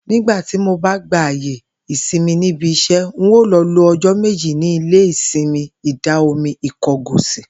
Nígbà tí mo bá gba àyè ìsimi níbi is̩é̩, n óò lo̩ lo o̩jó̩ méjì ní ilé-ìsimi Ìdà-omi Ìko̩gòsì